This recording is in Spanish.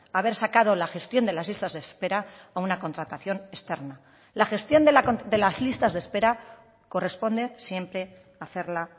haber sacado la gestión de las listas de espera a una contratación externa la gestión de las listas de espera corresponde siempre a hacerla